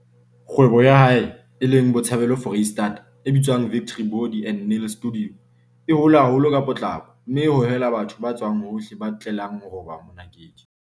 Kgwebo ya hae, e leng Botshabelo Freistata, e bitswang Victory Body and Nail Studio, e hola haholo ka potlako mme e hohela batho ba tswang hohle ba tlelang ho roba monakedi.